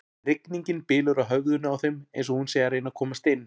Rigningin bylur á höfðinu á þeim eins og hún sé að reyna að komast inn.